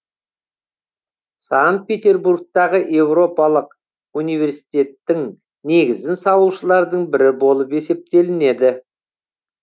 санкт петербургтағы еуропалық университеттің негізін салушылардың бірі болып есептелінеді